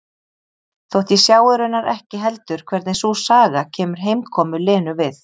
Þótt ég sjái raunar ekki heldur hvernig sú saga kemur heimkomu Lenu við.